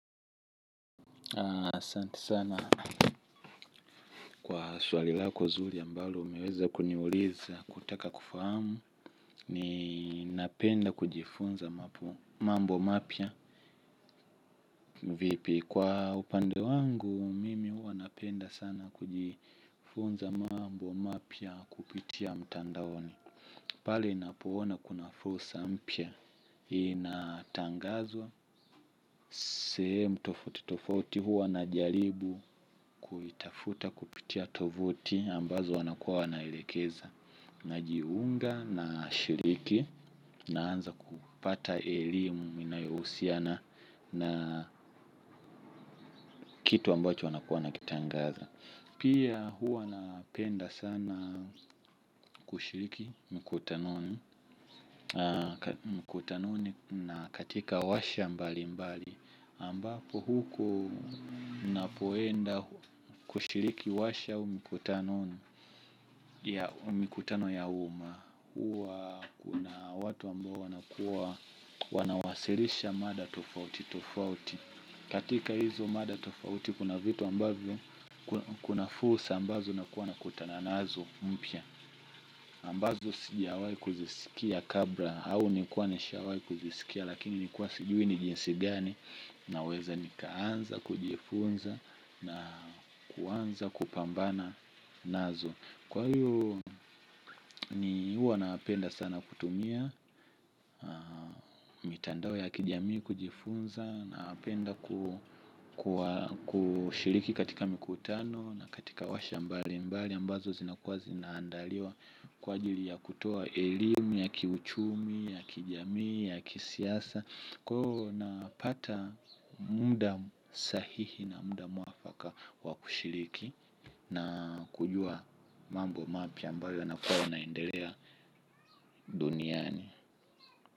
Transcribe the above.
Asante sana kwa swali lako nzuri ambalo umeweza kuniuliza kutaka kufahamu. Ni napenda kujifunza mambo mapya vipi. Kwa upande wangu mimi huwa napenda sana kujifunza mambo mapya kupitia mtandaoni. Pale napoona kuna fursa mpay inatangazwa. Sehemu tofauti tofauti huwa na jaribu kuitafuta kupitia tovuti ambazo wanakuwa wanaelekeza. Najiunga na shiriki na anza kupata elimu inayohusiana na kitu ambacho wanaku wanakitangaza. Pia huwa napenda sana kushiriki mkutanoni na katika washa mbali mbali ambapo huko na poenda kushiriki washa au mkutano ya mikutano ya uma huwa kuna watu ambao wanakuwa wanawasilisha mada tofauti tofauti katika hizo mada tofauti kuna vitu ambavyo kuna fursa ambavyo unakuwa unakutana nazo mpya ambazo sijawai kuzisikia kabla au nilikuwa nishawai kuzisikia lakini nilikuwa sijui ni jinsi gani. Na weza nikaanza kujifunza na kuanza kupambana nazo. Kwa hiyo ni huwa napenda sana kutumia mitandao ya kijamii kujifunza napenda kushiriki katika mikutano na katika washa mbali mbali ambazo zinakuwa zinaandaliwa. Kwa ajili ya kutoa elimu ya kiuchumi ya kijamii ya kisiasa. Kwa hiyo napata muda sahihi na muda mwafaka wakushiriki na kujua mambo mapya ambayo yanakuwa yanaendelea duniani.